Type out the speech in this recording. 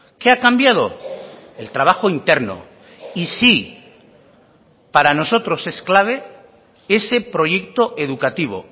qué ha cambiado el trabajo interno y sí para nosotros es clave ese proyecto educativo